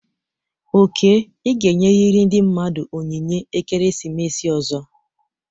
Oke, ị ga-enyerịrị ndị mmadụ onyinye ekeresimesi ọzọ!